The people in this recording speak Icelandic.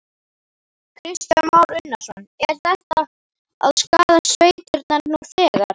Kristján Már Unnarsson: Er þetta að skaða sveitirnar nú þegar?